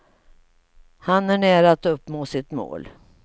Han är nära att uppnå sitt mål.